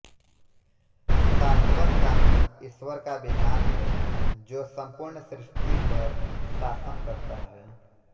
शाशवत कानून ईश्वर का विधान है जो सम्पूर्ण सृष्टि पर शासन करता है